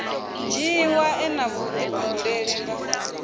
dzhiiwa e na vhudifhinduleli nga